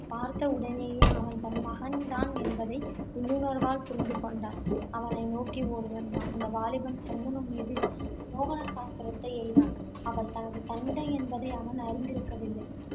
பார்த்தவுடனேயே அவன் தன் மகன் தான் என்பதை உள்ளுணர்வால் புரிந்துகொண்டான். அவனை நோக்கி ஓடிவந்தான். அந்த வாலிபன் சந்தனு மீது மோகனா சாஸ்திரத்தை எய்தான் அவன் தனது தந்தை என்பதை அவன் அறிந்திருக்கவில்லை.